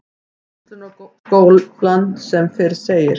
Verslunarskólann sem fyrr segir.